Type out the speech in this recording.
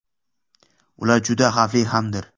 Ular juda xavfli hamdir.